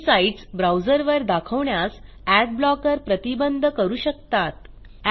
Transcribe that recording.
काही साईटस ब्राऊजरवर दाखवण्यास एडब्लॉकर प्रतिबंध करू शकतात